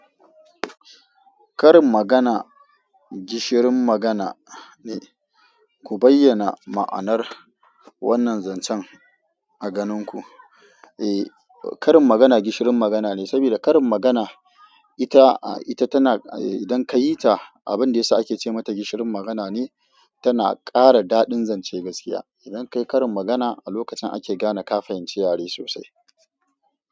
Karin magana gishirin magana ne. Ku bayyana ma'anar wannan zancen a ganin ku. Eh, karin magana gishirin magana ne, sabida karin magana ita, ita tana eh idan ka yi ta, abin da yasa ake ce mata gishirin magana ne, tana ƙara daɗin zance gaskiya. Idan ka yi karin magana a lokacin ake gane ka fahinci yare sosai.